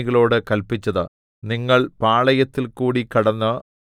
അപ്പോൾ യോശുവ ജനത്തിന്റെ പ്രമാണികളോട് കല്പിച്ചത്